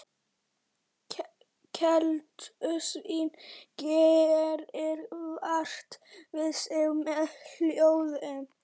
Keldusvín gerir vart við sig með hljóðum.